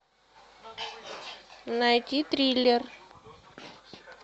найти триллер